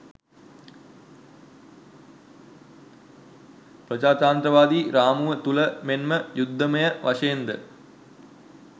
ප්‍රජාතන්ත්‍රවාදී රාමුව තුල මෙන්ම යුද්ධමය වශයෙන්ද